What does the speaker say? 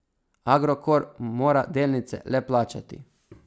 Agrokor mora delnice le plačati.